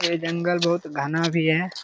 ये जंगल बहुत घना भी हैं।